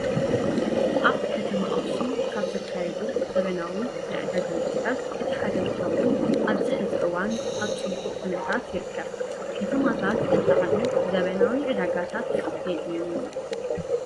ኣብ ከተማ ኣክሱም ካብ ዝካየዱ ዘበናዊ ናይ ዕዳጋ ቦታታት እቲ ሓደ እንትኸውን ኣብዚ ሕዚ እዋን ኣብ ፅሙቅ ኩነታት ይርከብ። ከተማታት እንትዓብዩ ዘበናዊ ዕዳጋታት የድልዮም እዩ።